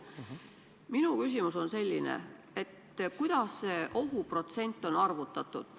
" Minu küsimus on selline, et kuidas see ohuprotsent on arvutatud.